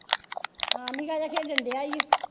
ਹਾਂ ਨਿੱਕਾ ਜਿਹਾ ਖੇਡਣ ਡਿਆ ਈ ਊ।